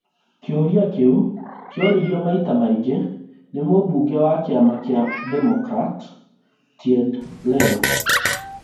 Kĩũrĩa kĩu kĩoririo maita maingĩ nĩ mũmbunge wa kĩama kĩa Democrat Ted Lieu